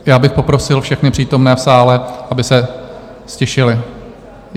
Já bych poprosil všechny přítomné v sále, aby se ztišili.